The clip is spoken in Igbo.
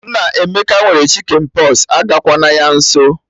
Nneamaka nwere Chicken pox, agakwa na ya nso